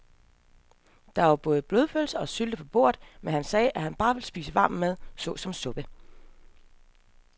Der var både blodpølse og sylte på bordet, men han sagde, at han bare ville spise varm mad såsom suppe.